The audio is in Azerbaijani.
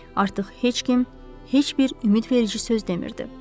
Artıq heç kim heç bir ümidverici söz demirdi.